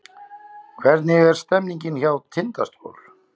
Hvernig er stemningin hjá Tindastól?